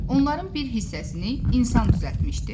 Onların bir hissəsini insan düzəltmişdi.